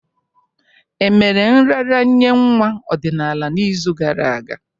Emere nraranye nwa ọdịnala n'izu gara aga?